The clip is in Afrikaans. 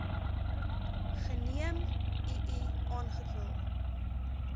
geneem ii aangekla